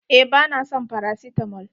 Eh ba na son farasitamol.